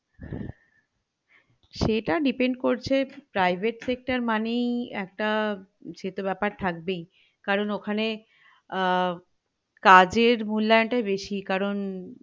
সেটা depend করছে private sector মানেই একটা সেতো বেপার থাকবেই কারণ ওখানে আহ কাজের মূল্যায়ন টাই বেশী কারণ